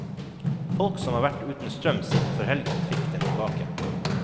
Folk som har vært uten strøm siden før helgen fikk, den tilbake.